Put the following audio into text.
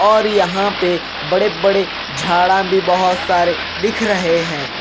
और यहाँ पे बड़े बड़े झाड़ा भी बहुत सारे दिख रहे हैं।